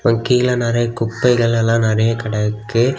கீழ நிறைய குப்பைகலெல்லா நறைய கிடக்கு.